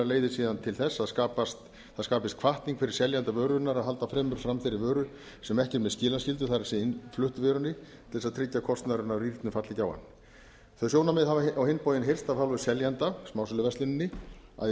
leiðir síðan til þess að það skapist hvatning fyrir seljanda vörunnar að halda fremur fram þeirri vöru sem ekki er með skilaskyldu það er innfluttu vörunni til þess að tryggja að kostnaðurinn af rýrnun falli ekki á hann þau sjónarmið hafa á hinn bóginn heyrst af hálfu seljenda smásöluversluninni að í